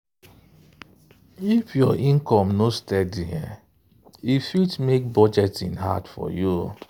if your income no steady e fit make budgeting hard for you.